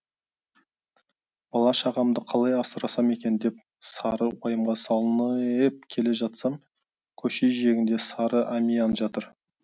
бала шағамды қалай асырасам екен деп сары уайымға салынеееп келе жатсам көше жиегінде сары әмиан жатыр